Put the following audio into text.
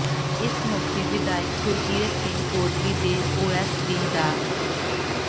ਇਸ ਮੌਕੇ ਵਿਧਾਇਕ ਗੁਰਕੀਰਤ ਸਿੰਘ ਕੋਟਲੀ ਦੇ ਓਐੱਸਡੀ ਡਾ